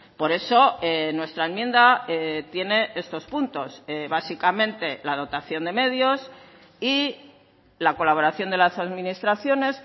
por eso nuestra enmienda tiene estos puntos básicamente la dotación de medios y la colaboración de las administraciones